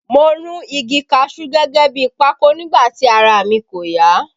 Mo run igi kaṣuú gẹ́gẹ́ bi pákò nígbà tí ara mi kò ya